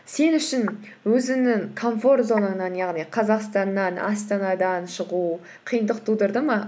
сен үшін өзіңнің комфорт зонаңнан яғни қазақстаннан астанадан шығу қиындық тудырды ма